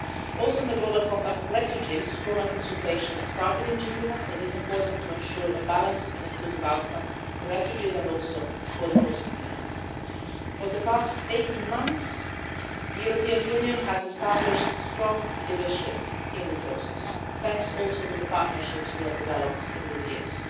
Also, on the Global Compact for Refugees, formal consultation has started in Geneva and it is important to ensure a balanced and inclusive outcome for refugees and also for the host communities. For the past 18 months the European Union has established strong leadership in the process, thanks also to the partnerships we have developed in these years.